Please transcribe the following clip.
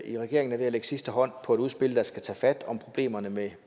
i regeringen er ved at lægge sidste hånd på et udspil der skal tage fat om problemerne med